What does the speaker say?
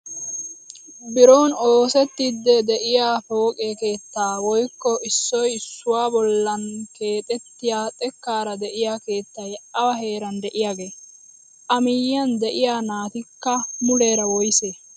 Biron oosettiidi de'iyaa pooqe keettaa woykko issoy issuwaa bollaan keexxettiyoo xekkaara de'iyaa keettay awa heeran de'iyaagee? a miyiyaan de'iyaa natikka muleera woysee?